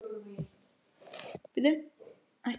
Ég hef ekki nema tvær hendur, skammaðist hann.